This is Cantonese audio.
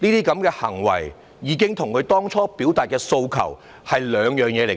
這些行為已經跟他們當初所表達的訴求是兩回事。